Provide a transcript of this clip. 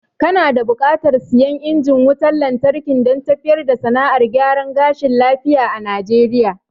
Kana da buƙatar siyan injin wutan lantarki dan tafiyar da sana'ar gyaran gashi lafiya a najeriya